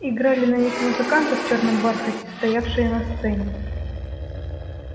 играли на них музыканты в чёрном бархате стоявшие на сцене